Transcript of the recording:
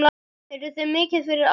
Eruð þið mikið fyrir áfengi?